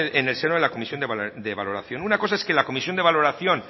en el seno de la comisión de valoración una cosa es que la comisión de valoración